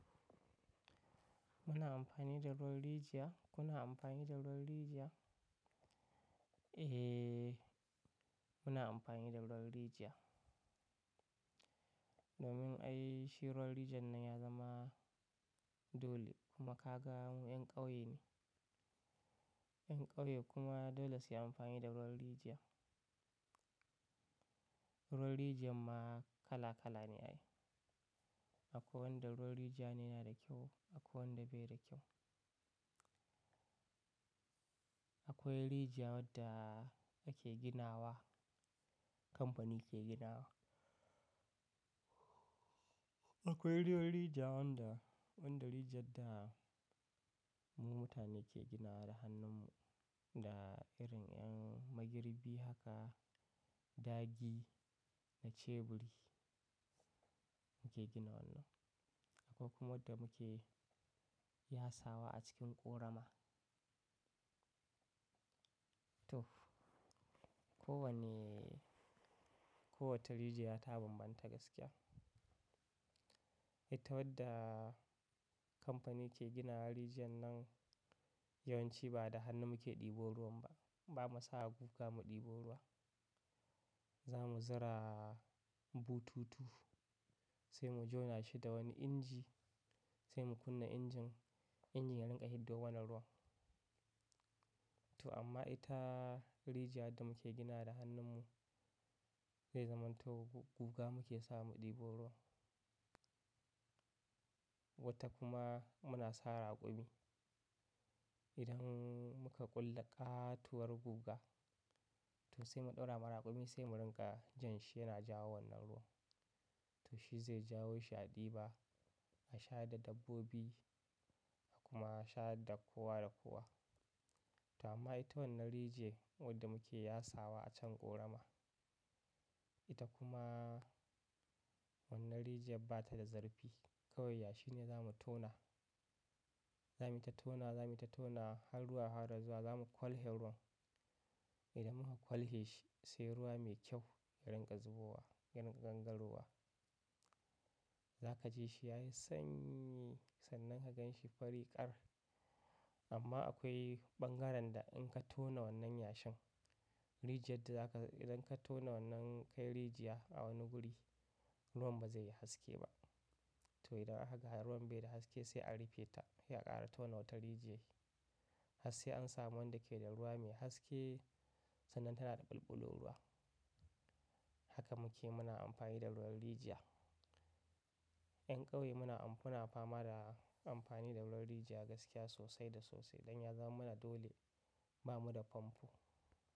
Muna amfani da ruwan rijiya. Kuna amfani da ruwan rijiya? Eh, muna amfani da ruwan rijiya. Domin ai shi ruwan rijiyan nan ya zama dole. Kuma ka gan mu 'yan ƙauye ne. 'Yan ƙauye kuma dole su yi amfani da ruwan rijiya. Ruwan rijiyan ma kala kala ne ai. Akwai wanda ruwan rijiya ne yana da kyau, akwai wanda bai da kyau. Akwai rijiya wadda ake gina wa, kamfani ke gina wa. Akwai ruwan rijiya wanda, wanda rijiyar da mu mutane ke ginawa da hannun mu, da irin ‘yan magirbi haka, dagi da ceburi muke gina wannan. Akwai kuma wadda muke yasawa a cikin ƙorama. To kowanne, kowace rijiya ta bambanta gaskiya. Ita wadda kamfani ke gina rijiyar nan, yawanci ba da hannun mu ke ɗibo ruwan ba. Ba mu sa guga mu ɗebo ruwa. Za mu zura bututu, sai mu jona shi da wani inji, sai mu kunna injin. Injin ya rinƙa hiddo mana ruwan. To amma ita rijiya wadda muke gina da hannun mu, zai zaman to guga muke sawa mu ɗibo ruwa. Wata kuma muna sa raƙumi. Idan muka ƙulla ƙatuwar guga, to sai mu ɗaura ma raƙumi, sai mu rinƙa jan shi yana jawo wannan ruwa. To shi zai jawo shi a ɗiba, a sha da dabbobi kuma a shayar da kowa da kowa. To amma ita wannan rijiya wadda muke yasawa a can ƙorama, ita kuma wannan rijiyar bata da zarfi. Kawai yashi ne za mu tona. Zamuyi ta tonawa, zamuyi ta tonawe har ruwa har ruwa yafara zuwa za mu ƙwalhe ruwan. Idan muka ƙwalhe shi sai ruwa mai kyau ya rinƙa zubowa, ya rinƙa gangarowa. Za ka ji shi ya yi sanyi sannan ka gan shi fari ƙar. Amma akwai ɓangaren da in ka tona wannan yashin, rijiyar da za ka, idan ka tona wannan kai rijiya a wani guri, ruwan ba zai yi haske ba. To idan aka ga ruwan bai da haske sai a rufe ta, sai a ƙara tona wata rijiya. Har sai an samu wanda ke da ruwa mai haske sannan tana da bulbulun ruwa. Haka muke muna amfani da ruwan rijiya. ‘Yan ƙauye muna, muna fama da amfani da ruwan rijiya gaskiya sosai da sosai. Don ya zaman mana dole, ba mu da famfo.